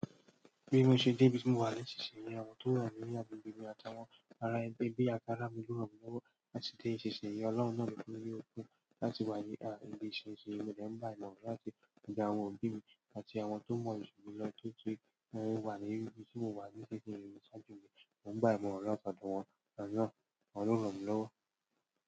Bi mo se dé ibi tí mo wà nísinsìnyí, àwọn tó wa ní àgbègbè mi àtàwọn ará ẹgbẹ́ bí àkárámiló rọ̀ mí lówó láti dé ìṣeṣe yẹn. Ọlọ́run náà mi fún ní opó láti wá yá ibi ìṣeṣe yẹn, mo dàgbà mọ̀ ọ́n láti ìgbà wọn òbí mi àti àwọn tó mọ̀ jù mí lọ tó ti wà ní ibi tí mo wà lẹ́sẹ̀ṣe yẹn ṣáájú mi, mo dàgbà mọ̀ wọ́n tán mọ́ wọn, àti lọ́wọ́ wọn ló rọ̀ mí lówó.